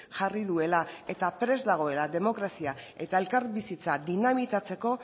jarri duela eta prest dagoela demokrazia eta elkarbizitza dinamitatzeko